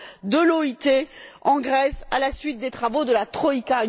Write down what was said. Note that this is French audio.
de l'OIT en Grèce, à la suite des travaux de la troïka.